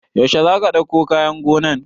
Yaushe za ka ɗauko kayan gonan?